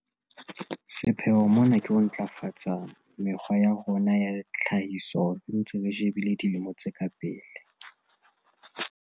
Sepheo mona ke ho ntlafatsa mekgwa ya rona ya tlhahiso re ntse re shebile dilemo tse ka pele.